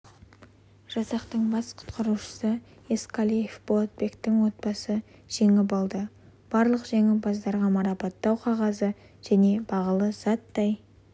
жасақтың бас құтқарушысы ескалиев болатбектің отбасы жеңіп алды барлық жеңімпаздарға марапаттау қағазы және бағалы заттай